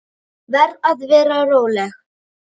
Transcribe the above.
Verð að vera róleg.